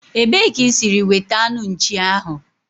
Ebee ka isiri wete anu nchi ahu?